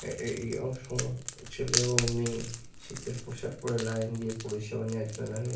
এ এ এই সব ছেলে এবং মেয়ে শীতের পোশাক পরে লাইন দিয়ে পরিষেবা নেওয়ার জন্য দাঁড়িয়ে আ --